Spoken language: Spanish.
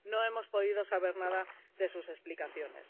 No hemos podido saber nada de sus explicaciones.